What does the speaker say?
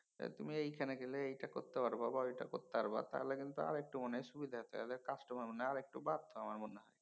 তুমি এইখানে গেলে এইটা করতে পারো বা ঐটা করতে পারবা তাহলে কিন্তু আরেক্তু মানে সুবিধা তাহলে customer মনে হয় আরেক্তু বাড়ত।